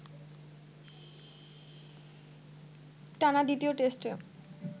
টানা দ্বিতীয় টেস্টে